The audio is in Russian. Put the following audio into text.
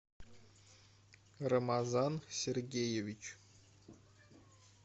рамазан сергеевич